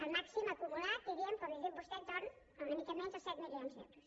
el màxim acumulat diríem com li he dit a vostè entorn d’una mica menys dels set milions d’euros